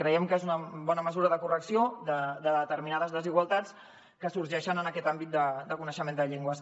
creiem que és una bona mesura de correcció de determinades desigualtats que sorgeixen en aquest àmbit de coneixement de llengües